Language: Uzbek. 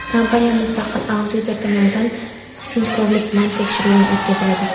Kompaniya mustaqil auditor tomonidan sinchkovlik bilan tekshiruvdan o‘tkaziladi.